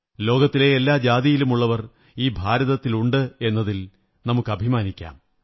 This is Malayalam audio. ലോകത്തിലെ എല്ലാ ജാതിയിലുമുള്ളവർ ഈ ഭാരതത്തിലുണ്ടെന്നതിൽ നമുക്ക് അഭിമാനിക്കാം